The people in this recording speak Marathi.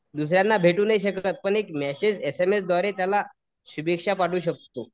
दुसऱ्यांना भेटू नाही शकत पण एक मेसेज एसएमएस द्वारे त्याला शुभेच्छा पाठवू शकतो.